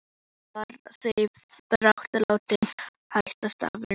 Hann var því brátt látinn hætta starfinu.